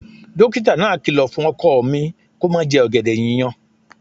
Dókítà náà kìlọ̀ fún ọkọ mi kó má jẹ ọ̀gẹ̀dẹ̀ yíyan